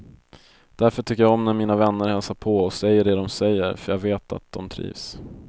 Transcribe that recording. Därför tycker jag om när mina vänner hälsar på och säger det dom säger, för jag vet att dom trivs.